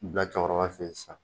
bila cɛkɔrɔba fɛ yen sisan